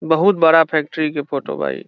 बहुत बड़ा फैक्ट्री के फोटो बा इ |